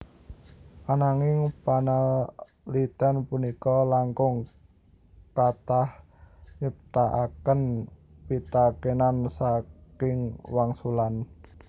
Ananging panalitén punika langkung kathah nyiptakaken pitakénan saking wangsulan